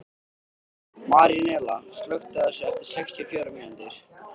Marínella, slökktu á þessu eftir sextíu og fjórar mínútur.